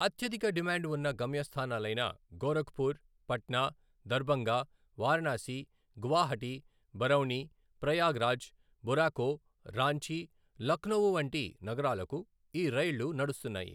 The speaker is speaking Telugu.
అత్యధిక డిమాండ్ ఉన్న గమ్యస్థానాలైన గోరఖ్పుర్, పట్నా, దర్బంగ, వారణాసి, గువాహటి, బరౌణి, ప్రయాగ్రాజ్, బొరాకో, రాంచీ, లఖ్నవూ వంటి నగరాలకు ఈ రైళ్లు నడుస్తున్నాయి.